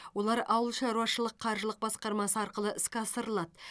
олар ауылшаруашылық қаржылық басқармасы арқылы іске асырылады